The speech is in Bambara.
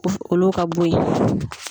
U olu ka bo ye.